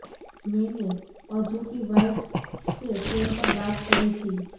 મૈંને અજુ કી વાઈફ્ સે ફેન પર બાત કરી થી